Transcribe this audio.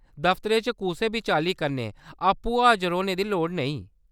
दफ्तरै च कुसै बी चाल्ली कन्नै आपूं हाजर होने दी लोड़ नेईं ।